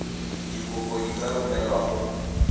dikopo di ka romelwa go